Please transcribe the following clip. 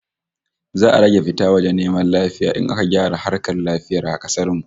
Za'a rage fita waje neman lafiya in aka gyara harkar lafiyar kasar mu